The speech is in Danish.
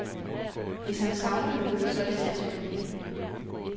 Hvis han savner noget, så er det sans for penge.